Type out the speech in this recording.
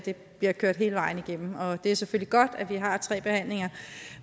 bliver kørt hele vejen igennem og det er selvfølgelig godt at vi har tre behandlinger